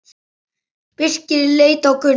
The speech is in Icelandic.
Birkir leit á Gunnar.